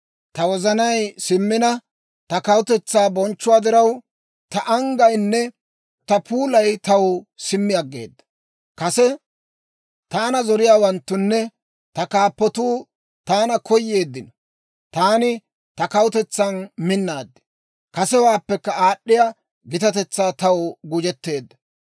Ta wozanay simmina, ta kawutetsaa bonchchuwaa diraw, ta anggayinne ta puulay taw simmi aggeeda. Kase taana zoriyaawanttunne ta kaappatuu taana koyeeddino. Taani ta kawutetsan minnaad; kasewaappekka aad'd'iyaa gitatetsay taw gujetteedda.